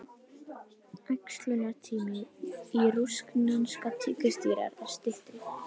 Æxlunartími rússneskra tígrisdýra er styttri.